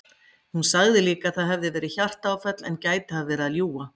Hún sagði líka að það hefði verið hjartaáfall en gæti hafa verið að ljúga.